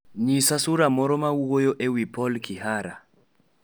Nyisa sula moro ma wuoyo e wi paul kihara